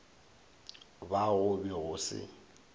ba go be go se